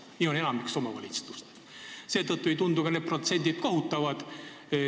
Nii on enamikus omavalitsustes ja seetõttu ei tundu ka need protsendid kohutavad.